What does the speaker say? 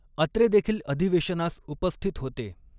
अत्रे देखील अधिवे़शनास उपस्थित होते.